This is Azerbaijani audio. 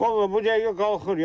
Vallah bu dəqiqə qalxır.